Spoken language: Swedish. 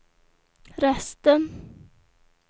resten